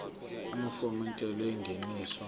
amafomu entela yengeniso